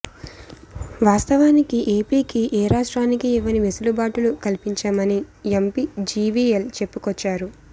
వాస్తవానికి ఏపీకి ఏ రాష్ట్రానికి ఇవ్వని వెసులుబాటులు కల్పించామని ఎంపి జివిఎల్ చెప్పుకొచ్చారు